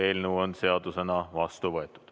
Eelnõu on seadusena vastu võetud.